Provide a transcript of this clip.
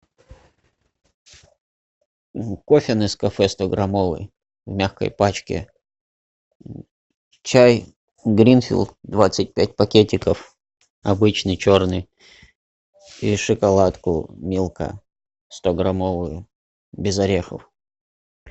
кофе нескафе стограммовый в мягкой пачке чай гринфилд двадцать пять пакетиков обычный черный и шоколадку милка стограммовую без орехов